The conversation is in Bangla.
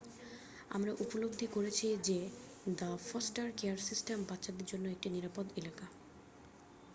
আমরা উপলব্ধি করেছি যে দ্য ফস্টার কেয়ার সিস্টেম বাচ্চাদের জন্য একটি নিরাপদ এলাকা